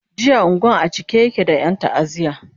jiya unguwan a cike yake da Yan ta'aziya